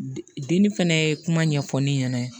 Denni fɛnɛ ye kuma ɲɛfɔ ne ɲɛna